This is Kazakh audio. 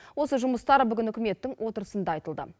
осы жұмыстар бүгін үкіметтің отырысында айтылды